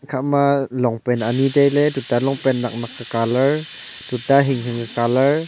ikha ma longpant ani tailey tuita longpant nek nek ke colour tuita hing hing ka colour.